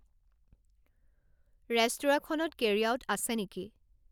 ৰেস্তোৰাঁখনত carry out আছে নেকি